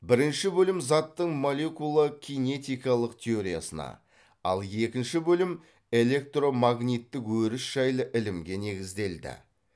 бірінші бөлім заттың молекула кинетикалық теориясына ал екінші бөлім әлектромагниттік өріс жайлы ілімге негізделді